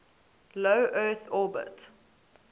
low earth orbit